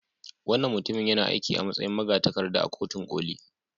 Wannan mutumin yana aiki a matsayin magatakarda a Kotun Koli.